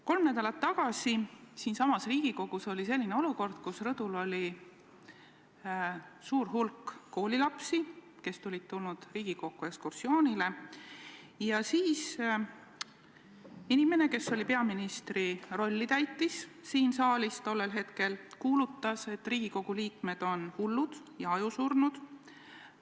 Kolm nädalat tagasi oli siinsamas Riigikogus selline olukord, kus rõdul oli suur hulk koolilapsi, kes olid tulnud Riigikokku ekskursioonile, ja siis inimene, kes tol päeval täitis siin saalis peaministri rolli, kuulutas, et Riigikogu liikmed on hullud ja ajusurnud.